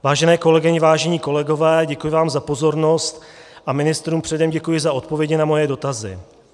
Vážené kolegyně, vážení kolegové, děkuji vám za pozornost a ministrům předem děkuji za odpovědi na moje dotazy.